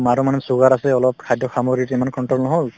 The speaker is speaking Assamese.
মাৰো মানে sugar আছে অলপ খাদ্য সামগ্ৰী ইমান control নহল